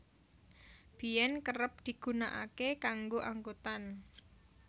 Biyen kerep digunakake kanggo angkutan